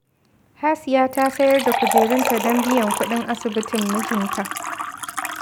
Hasiya ta sayar da kujerunta don biyan kuɗin asibitin mijinta